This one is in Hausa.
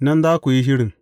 Nan za ku yi shirin.